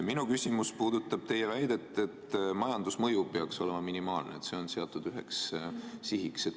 Minu küsimus aga puudutab teie väidet, et majandusmõju peaks olema minimaalne, see on seatud üheks sihiks.